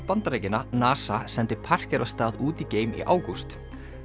Bandaríkjanna NASA sendi af stað út í geim í ágúst